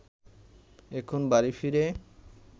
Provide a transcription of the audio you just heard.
এখন বাড়ি ফিরে